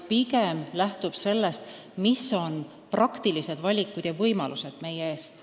Pigem lähtub see sellest, millised on meie praktilised valikud ja reaalsed võimalused.